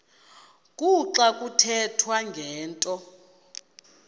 kuxa kuthethwa ngento